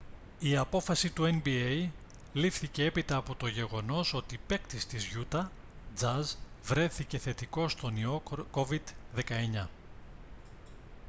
η απόφαση του nba λήφθηκε έπειτα από το γεγονός ότι παίκτης της γιούτα τζαζ βρέθηκε θετικός στον ιό covid-19